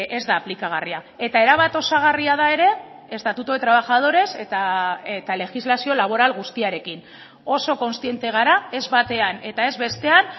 ez da aplikagarria eta erabat osagarria da ere estatuto de trabajadores eta legislazio laboral guztiarekin oso kontziente gara ez batean eta ez bestean